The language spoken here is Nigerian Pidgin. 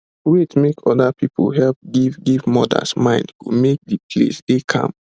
wait make other people help give give mothers mind go make d place dey calm